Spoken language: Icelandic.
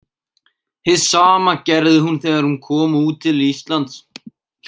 Hið sama gerði hún þegar hún kom út til Íslands.